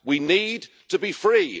We need to be free.